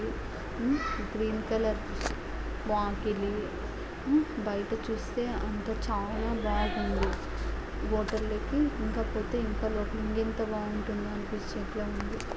ఆ ఊ green colour వాకిలి ఆ బయట చూస్తే అంత చాలా బాగుంది. వాటర్ లెక్కన లోపల చూస్తే ఇంకెంత బాగుంటుందో అనిపించేట్టు ఉంది.